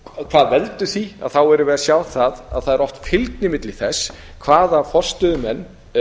hvað veldur því þá erum við að sjá það að það er oft fylgni milli þess hvaða forstöðumenn